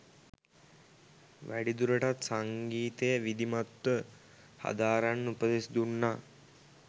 වැඩි දුරටත් සංගීතය විධිමත්ව හදාරන්න උපදෙස් දුන්නා